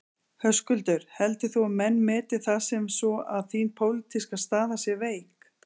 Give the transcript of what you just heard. Höskuldur: Heldur þú að menn meti það sem svo að þín pólitíska staða sé veik?